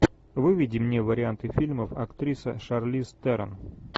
выведи мне варианты фильмов актриса шарлиз терон